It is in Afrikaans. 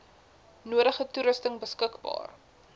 nodige toerusting beskikbaar